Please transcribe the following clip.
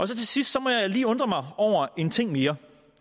til sidst må jeg lige undre mig over en ting mere